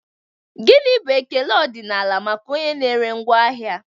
Gini bụ ekele ọdịnala maka onye na-ere ngwaahịa?